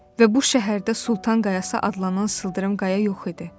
Və bu şəhərdə Sultan Qayası adlanan sıldırım qaya yox idi.